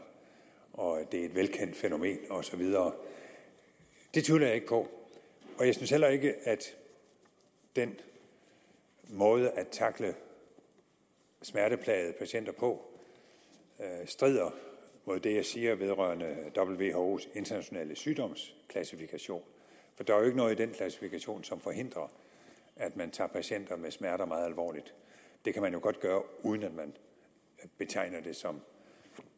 og at det er et velkendt fænomen og så videre det tvivler jeg ikke på og jeg synes heller ikke at den måde at tackle smerteplagede patienter på strider mod det jeg siger vedrørende whos internationale sygdomsklassifikation der er jo ikke noget i den klassifikation som forhindrer at man tager patienter med smerter meget alvorligt det kan man jo godt gøre uden at man betegner det som